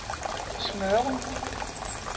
Smørum